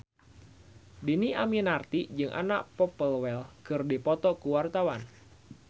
Dhini Aminarti jeung Anna Popplewell keur dipoto ku wartawan